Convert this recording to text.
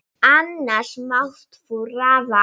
annars mátt þú ráða.